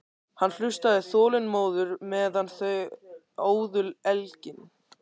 Hann hlustaði þolinmóður meðan þau óðu elginn.